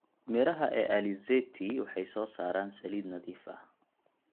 Midhaha ee alizeti waxay soo saaraan saliid nadiif ah.